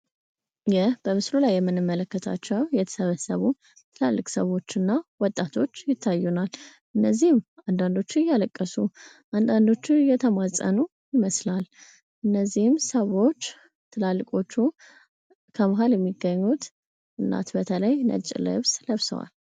ይህ በምስሉ ላይ የምንመለከታቸው የተሰበሰቡ ታላላቅ ሰዎች እና ወጣቶች ይታየናል። እነዚህም አንዳንዶቹ እያለቀሱ አንዳዶቹ እየተማፀኑ ይመስላል። እነዚህም ሰዎች ትላልቆቹ ከመሀል የሚገኙ እናት በተለይ ነጭ ልብስ ለብሰዋል።